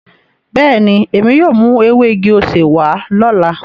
Beeni, emi yóò mu ewe igi osè wa lola.